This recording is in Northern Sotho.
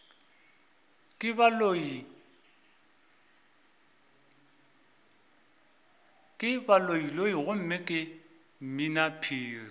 ke baloiloi gomme ke mminaphiri